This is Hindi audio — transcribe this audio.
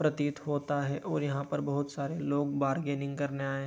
प्रतीत होता है और यहां पर बोहत सारे लोग बार्गेनिंग करने आए है।